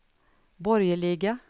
borgerliga